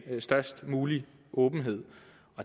størst mulig åbenhed